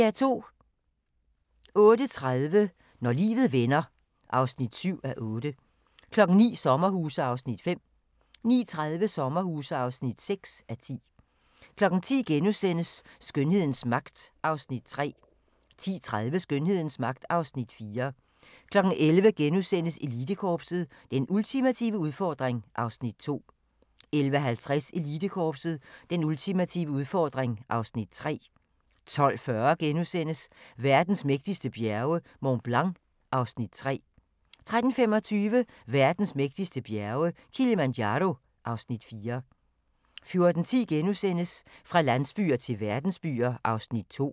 08:30: Når livet vender (7:8) 09:00: Sommerhuse (5:10) 09:30: Sommerhuse (6:10) 10:00: Skønhedens magt (Afs. 3)* 10:30: Skønhedens magt (Afs. 4) 11:00: Elitekorpset – Den ultimative udfordring (Afs. 2)* 11:50: Elitekorpset – Den ultimative udfordring (Afs. 3) 12:40: Verdens mægtigste bjerge: Mont Blanc (Afs. 3)* 13:25: Verdens mægtigste bjerge: Kilimanjaro (Afs. 4) 14:10: Fra landsbyer til verdensbyer (2:4)*